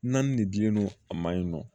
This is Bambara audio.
Naani de dilen do a ma yen nɔ